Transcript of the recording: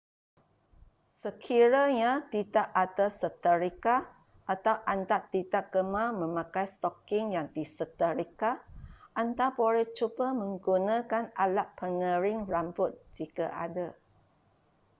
sekiranya tidak ada seterika atau anda tidak gemar memakai stoking yang diseterika anda boleh cuba menggunakan alat pengering rambut jika ada